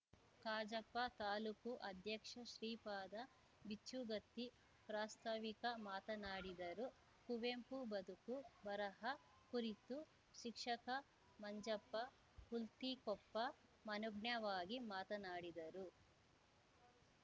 ಕಜಾಪ ತಾಲೂಕು ಅಧ್ಯಕ್ಷ ಶ್ರೀಪಾದ ಬಿಚ್ಚುಗತ್ತಿ ಪ್ರಸ್ತಾವಿಕ ಮಾತನಾಡಿದರು ಕುವೆಂಪು ಬದುಕು ಬರಹ ಕುರಿತು ಶಿಕ್ಷಕ ಮಂಜಪ್ಪ ಹುಲ್ತಿಕೊಪ್ಪ ಮನೋಜ್ಞವಾಗಿ ಮಾತನಾಡಿದರು